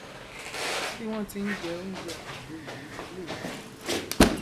bí wọn ti n jẹ oúnjẹ àgbàdo yìí lèyìí